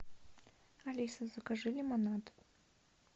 алиса закажи лимонад